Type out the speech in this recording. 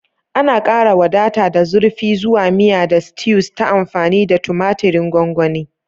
Ana ƙara wadata da zurfi zuwa miya da stews ta amfani da tumatirin gongoni.